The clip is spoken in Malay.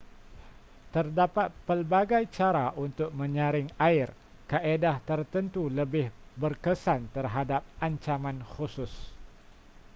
terdapat pelbagai cara untuk menyaring air kaedah tertentu lebih berkesan terhadap ancaman khusus